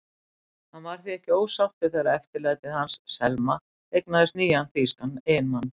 Hann var því ekki ósáttur þegar eftirlætið hans, Selma, eignaðist þýskan eiginmann.